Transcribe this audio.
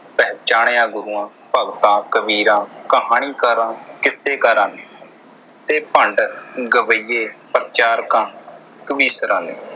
ਪਹਿਚਾਣਿਆ। ਗੁਰੂਆਂ, ਭਗਤਾ, ਕਬੀਰਾਂ, ਕਹਾਣੀਕਾਰਾਂ, ਕਿੱਸੇਕਾਰਾਂ ਨੇ ਤੇ ਭੰਡ ਗਵੱਈਏ ਪ੍ਰਚਾਰਕਾਂ, ਕਵੀਸ਼ਰਾਂ ਨੇ।